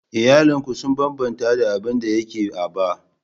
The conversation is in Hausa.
Iyalin ku sun bambanta da abin da yake a bay